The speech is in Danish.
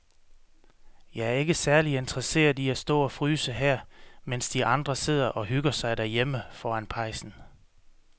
Jeg er ikke særlig interesseret i at stå og fryse her, mens de andre sidder og hygger sig derhjemme foran pejsen.